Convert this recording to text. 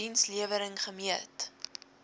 diens lewering gemeet